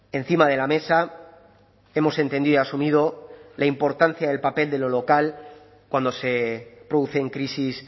encima de la mesa hemos entendido asumido la importancia del papel de lo local cuando se producen crisis